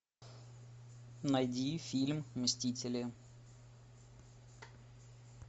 найди фильм мстители